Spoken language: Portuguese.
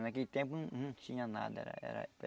Naquele tempo não não tinha nada. Era